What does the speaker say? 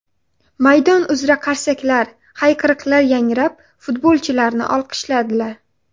Maydon uzra qarsaklar, hayqiriqlar yangrab futbolchilarni olqishladilar.